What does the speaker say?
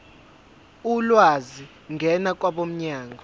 ulwazi ngena kwabomnyango